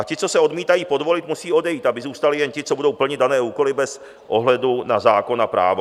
A ti, co se odmítají podvolit, musí odejít, aby zůstali jen ti, co budou plnit dané úkoly bez ohledu na zákon a právo.